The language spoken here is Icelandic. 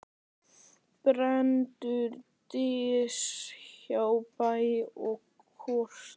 Brennur dys hjá bæ og koti.